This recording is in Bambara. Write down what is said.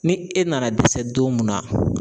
Ni e nana dɛsɛ don mun na